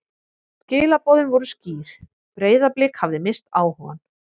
Skilaboðin voru skýr: Breiðablik hafði misst áhugann.